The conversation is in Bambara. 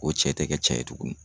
O cɛ tɛ kɛ cɛ ye tugunni.